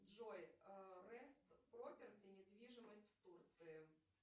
джой рест проперти недвижимость в турции